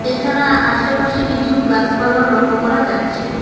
এছাড়া আশেপাশে কিছু গাসপালাও লক্ষ করা যাচ্ছে।